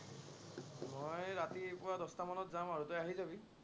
মই ৰাতিপুৱা দশটামানত যাম আৰু, তই আহি যাবি।